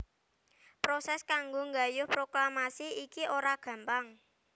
Prosès kanggo nggayuh proklamasi iki ora gampang